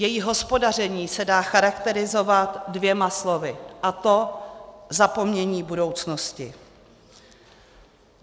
Její hospodaření se dá charakterizovat dvěma slovy, a to zapomnění budoucnosti.